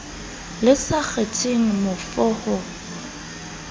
le sa kgetheng mofo ho